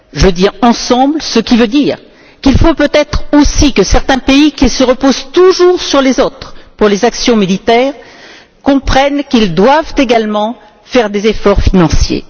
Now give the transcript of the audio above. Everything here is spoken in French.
Je dis ensemble, ce qui veut dire qu'il faut peut être aussi que certains pays, qui se reposent toujours sur les autres pour les actions militaires, comprennent qu'ils doivent également faire des efforts financiers.